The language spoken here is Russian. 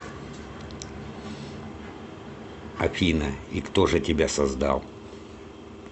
афина и кто же тебя создал